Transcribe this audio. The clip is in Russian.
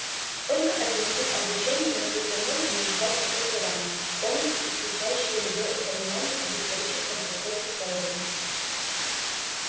только один тип обучения на всей планете может дать образование полностью исключающее любое упоминание об историческом процессе сэлдона